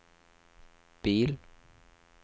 bil